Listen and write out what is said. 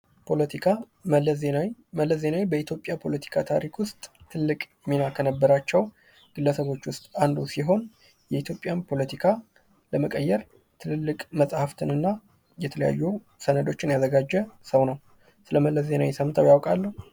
ፖለቲካ ፦ መለስ ዜናዊ ፦ መለስ ዜናዊ በኢትዮጲያ ፖለቲካ ታሪክ ውስጥ ትልቅ ሚና ከነበራቸው ግለሰቦች ውስጥ አንዱ ሲሆን የኢትዮጵያን ፖለቲካ ለመቀየር ትልልቅ መጻፍትን እና የተለያዩ ሰነዶችን ያዘጋጀ ሰው ነው ። ስለ መለስ ዜናዊ ሰምተው ያውቃሉ ?